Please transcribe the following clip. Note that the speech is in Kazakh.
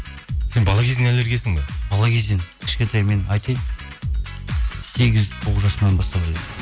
сен бала кезіңнен аллергиясың ба бала кезден кішкентай мен айтайын сегіз тоғыз жасымнан бастап